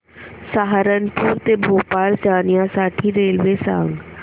सहारनपुर ते भोपाळ जाण्यासाठी रेल्वे सांग